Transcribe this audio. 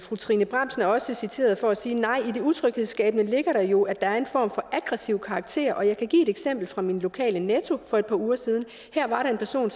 fru trine bramsen er også citeret for at sige nej i det utryghedsskabende ligger der jo at der er en form for aggressiv karakter og jeg kan give et eksempel fra min lokale netto for et par uger siden her var der en person